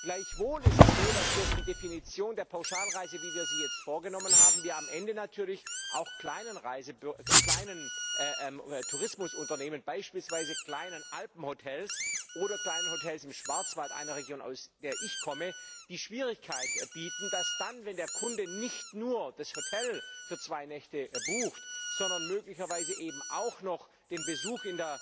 Gleichwohl ist es so, dass bei der Definition der Pauschalreise, wie wir sie jetzt vorgenommen haben, natürlich auch für kleine Tourismusunternehmen, beispielsweise kleine Alpenhotels oder Kleinhotels im Schwarzwald einer Region, aus der ich komme die Schwierigkeit entsteht, dass dann, wenn der Kunde nicht nur das Hotel für zwei Nächte bucht, sondern möglicherweise eben auch noch den Besuch